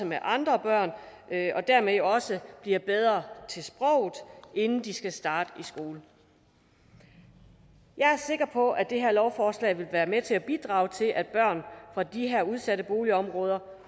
med andre børn og dermed også bliver bedre til sproget inden de skal starte i skole jeg er sikker på at det her lovforslag vil være med til at bidrage til at børn fra de her udsatte boligområder